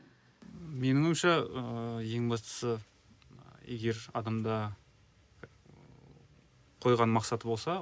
менің ойымша ыыы ең бастысы егер адамда ыыы қойған мақсаты болса